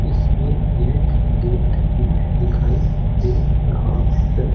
इसमें एक गेट भी दिखाई दे रहा है।